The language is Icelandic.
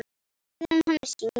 Meðan hann syngur.